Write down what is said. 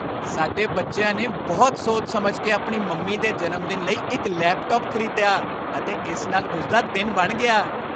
ਸਾਡੇ ਬੱਚਿਆਂ ਨੇ ਬਹੁਤ ਸੋਚ ਸਮਝ ਕੇ ਆਪਣੀ ਮੰਮੀ ਦੇ ਜਨਮਦਿਨ ਲਈ ਇੱਕ ਲੈਪਟਾਪ ਖ਼ਰੀਦਿਆ ਅਤੇ ਇਸ ਨਾਲ ਉਸ ਦਾ ਦਿਨ ਬਣ ਗਿਆ।